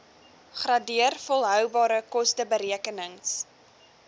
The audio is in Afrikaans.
gradeer volhoubare kosteberekenings